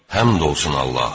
Həmd olsun Allaha.